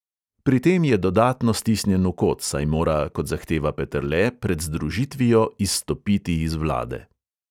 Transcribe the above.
Pri tem je dodatno stisnjen v kot, saj mora, kot zahteva peterle, pred združitvijo izstopiti iz vlade.